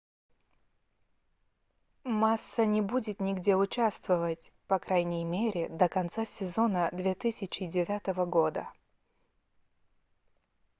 масса не будет нигде участвовать по крайней мере до конца сезона 2009 года